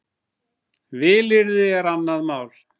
Vilyrði er annað mál.